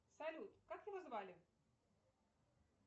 салют как его звали